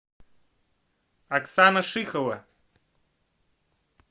оксана шихова